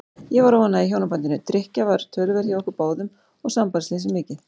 Ég var óánægð í hjónabandinu, drykkja var töluverð hjá okkur báðum og sambandsleysið mikið.